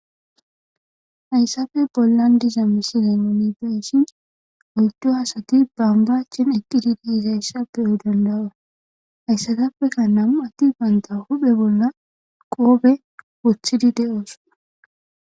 Hayssafe bollan diza misizannumibeshin oyddo asati bambachen eqqididi izayssa beyoy dandawa hayssatappeka nammu atti baynta huphe bolla qoobe wothidi de'ooson.